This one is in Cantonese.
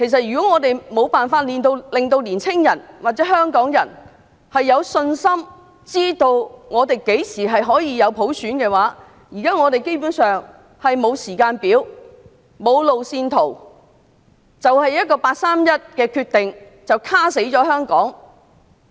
如果我們無法令年青人或香港人有信心，知道香港何時可以有普選......現在基本上是沒有普選的時間表、路線圖，只因一個八三一決定便"卡死"香港。